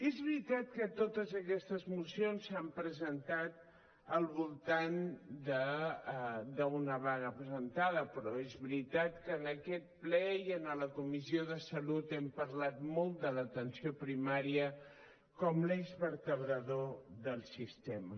és veritat que totes aquestes mocions s’han presentat al voltant d’una vaga presentada però és veritat que en aquest ple i a la comissió de salut hem parlat molt de l’atenció primària com l’eix vertebrador del sistema